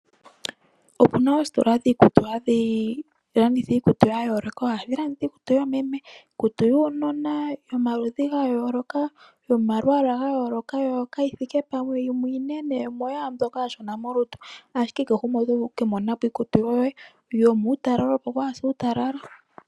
Opuna oositola dhikutu hadhilanditha iikutu yayoloka, ohadhilanditha iikutu yomeme, iikutu yuunona yomaludhi ngayoloka yomalwala ngayoloka yo kayithike pamwe yimwe inene yimwe oya mboka ashona molutu ashike kehe ngumwe oto vulu okwi monenapo iikutu yoye yomutalala opo wase utalala.